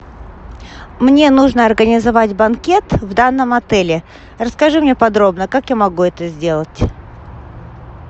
мне нужно организовать банкет в данном отеле расскажи мне подробно как я могу это сделать